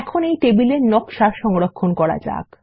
এখন এই টেবিল নকশা সংরক্ষণ করা যাক